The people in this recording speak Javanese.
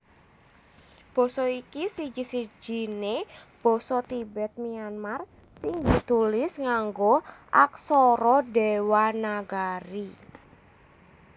Basa iki siji sijiné basa Tibet Myanmar sing ditulis nganggo aksara Dewanagari